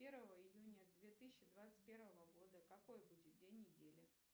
первого июня две тысячи двадцать первого года какой будет день недели